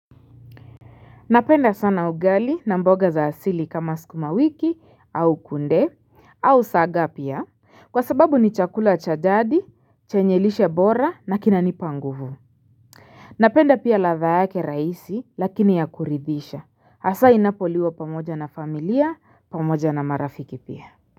Napenda sana ugali na mboga za asili kama sukuma wiki au kunde au saga pia Kwa sababu ni chakula cha jadi chenye lishe bora na kinanipa nguvu Napenda pia ladha yake rahisi lakini ya kuridhisha hasa inapoliwa pamoja na familia pamoja na marafiki pia.